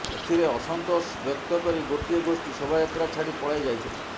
ଏଥିରେ ଅସନ୍ତୋଷ ବ୍ୟକ୍ତକରି ଗୋଟିଏ ଗୋଷ୍ଠୀ ଶୋଭାଯାତ୍ରା ଛାଡ଼ି ପଳାଇ ଯାଇଥିଲେ